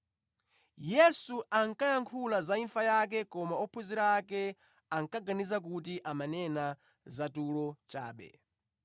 Yesu ankayankhula za imfa yake koma ophunzira ake ankaganiza kuti amanena za tulo chabe.